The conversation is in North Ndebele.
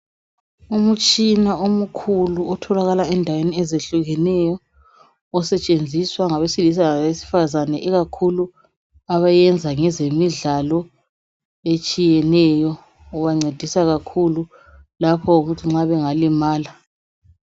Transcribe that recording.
Umtshina omkhulu othalakala endaweni ezehlukeneyo usetshenziswa ngabe silisa labesifazana ikakhulu abayenza ngezemidlalo etshiyeneyo ubancedisa kakhulu nxa bengalimala.